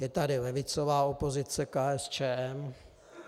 Je tady levicová opozice KSČM.